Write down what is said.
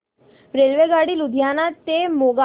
रेल्वेगाडी लुधियाना ते मोगा